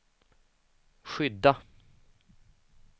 skydda